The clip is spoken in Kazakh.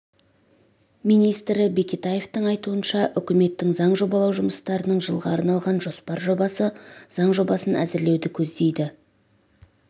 министрі бекетаевтың айтуынша үкіметтің заң жобалау жұмыстарының жылға арналған жоспар жобасы заң жобасын әзірлеуді көздейді